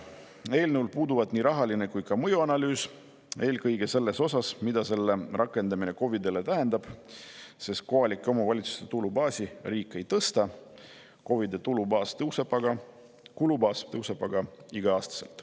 Eelnõul puudub nii rahaline kui ka mõjuanalüüs, eelkõige selles osas, mida selle rakendamine KOV-idele tähendab, sest kohalike omavalitsuste tulubaasi riik ei tõsta, kuid KOV-ide kulubaas tõuseb igal aastal.